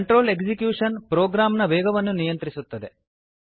control execution ಪ್ರೋಗ್ರಾಂನ ವೇಗವನ್ನು ನಿಯಂತ್ರಿಸುತ್ತದೆ